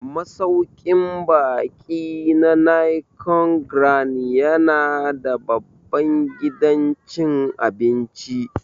Masauƙin baƙi na Nicon Grand ya na da babban gidan cin abinci